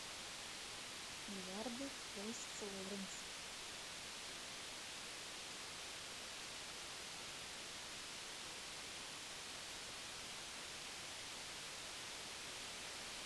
миллиарды фрэнсиса лоуренса